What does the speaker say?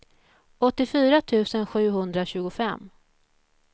åttiofyra tusen sjuhundratjugofem